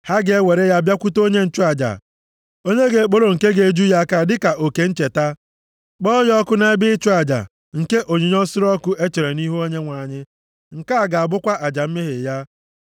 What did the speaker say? Ha ga-ewere ya bịakwute onye nchụaja, onye ga-ekporo nke ga-eju ya aka ya dịka oke ncheta. Kpọọ ya ọkụ nʼebe ịchụ aja nke onyinye nsure ọkụ e chere nʼihu Onyenwe anyị. Nke a ga-abụkwa aja mmehie ya.